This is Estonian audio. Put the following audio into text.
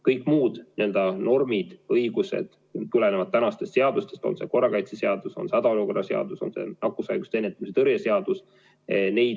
Kõik muud normid, õigused tulenevad tänastest seadustest, on see korrakaitseseadus, on hädaolukorra seadus või nakkushaiguste ennetamise ja tõrje seadus.